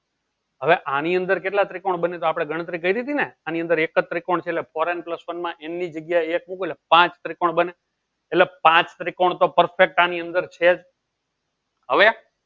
હવે આની અંદર કેટલા ત્રિકોણ બને તો આપણે ગણતરી કરી તી ને આની અંદર એક જ ત્રિકોણ છે four n plus one માં n ની જગ્યાએ એક મુકો તો પાંચ ત્રિકોણ બને. એટલે પાંચ ત્રિકોણ તો perfect આની અંદર છે જ હવે